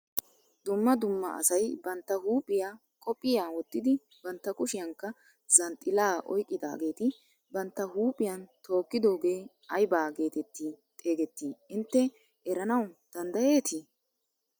Dumma dumma asay bantta huuphphiyaa qophiyaa wottidi bantta kushiyaankka zanxxilaa oyqqidaageti bantta huuphphiyaan tookkidoogee aybaa getetti xegettii intte eranawu danddayetii?